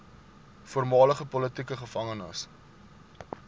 voormalige politieke gevangenes